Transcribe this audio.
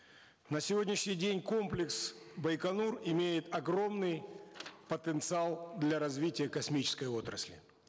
на сегодняшний день комплекс байконур имеет огромный потенциал для развития космической отрасли